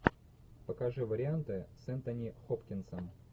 покажи варианты с энтони хопкинсом